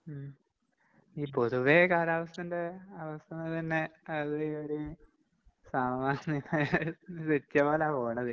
ഉം ഇനി പൊതുവെ കാലാവസ്ഥേന്റെ അവസ്ഥകള് തന്നെ അതൊരു ഒരു പോണത്.